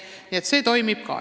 Ka see toimib.